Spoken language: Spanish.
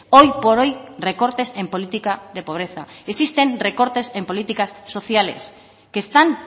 hoy por hoy recortes en política de pobreza existen recortes en políticas sociales que están